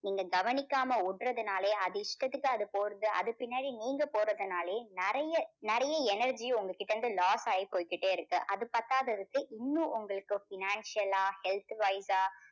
நீங்க கவனிக்காம விடுறதுனாலேயே அது இஷ்டத்துக்கு அது போறது அது பின்னாடியே நீங்க போறதுனாலேயே நிறைய நிறைய energy உங்ககிட்ட இருந்து loss ஆயி போயிக்கிட்டே இருக்கு. அது பத்தாததுக்கு இன்னும் உங்களுக்கு financial ஆ health wise ஆ